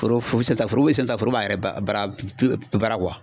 Foro o bɛ se ka taa foro bɛ se ka taa foro ba yɛrɛ ba baara baara